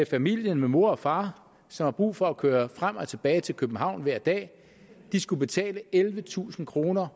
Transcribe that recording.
familien med mor og far som har brug for at køre frem og tilbage til københavn hver dag skulle betale mindst ellevetusind kroner